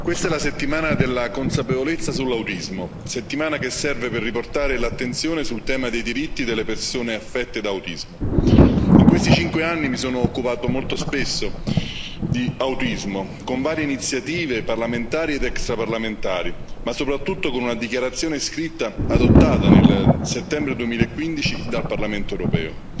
questa è la settimana della consapevolezza sull'autismo, settimana che serve per riportare l'attenzione sul tema dei diritti delle persone affette da autismo. In questi cinque anni mi sono occupato molto spesso di autismo, con varie iniziative parlamentari ed extraparlamentari, ma soprattutto con una dichiarazione scritta approvata nel settembre 2015 dal Parlamento europeo.